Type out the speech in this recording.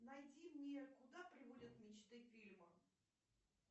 найди мне куда приводят мечты фильм